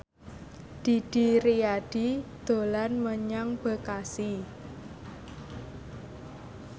Didi Riyadi dolan menyang Bekasi